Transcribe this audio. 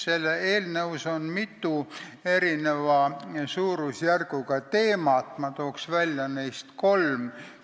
Selles eelnõus on mitu erineva suurusjärguga teemat, ma tooks neist välja kolm.